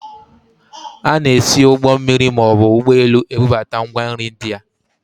A na-esi ụgbọ mmiri maọbụ ụgbọelu ebubata ngwa nri ndị a